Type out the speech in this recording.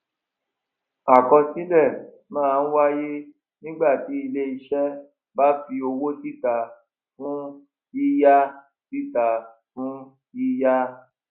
àkọsílè má n wáyé nígbà tí iléiṣé bá fi owó síta fún yíyá síta fún yíyá